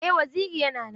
Eh waziri yana nan.